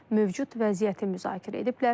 Tərəflər mövcud vəziyyəti müzakirə ediblər.